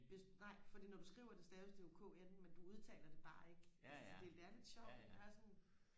hvis nej fordi når du skriver det staves det jo kn men du udtaler det bare ikke altså det det er lidt sjovt det er sådan